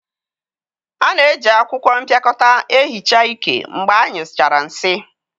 A na-eji akwụkwọ mpịakọta ehicha iké mgbe anyụchara nsị.